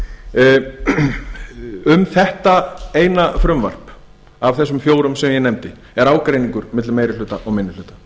samstarfið um þetta eina frumvarp af þeim fjórum sem ég nefndi er ágreiningur milli meiri hluta og